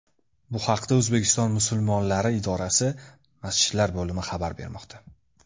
Bu haqda O‘zbekiston musulmonlari idorasi Masjidlar bo‘limi xabar bermoqda .